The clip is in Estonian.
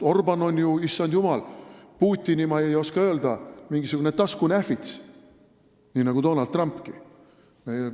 Orbán on ju, issand jumal, Putini kõrval, ma ei oska öelda, mingisugune taskunähvits, nii nagu ka Donald Trump.